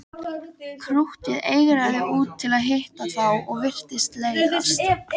Krúttið eigraði út til að hitta þá og virtist leiðast.